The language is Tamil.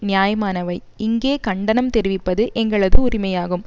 நியாயமானவை இங்கே கண்டனம் தெரிவிப்பது எங்களது உரிமையாகும்